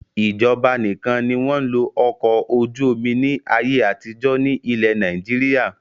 Ìjọba nìkan ni wọn ń lo Ọkọ̀-ojú-omi ni ayé àtijọ́ ni ilẹ̀ Nàìjíríà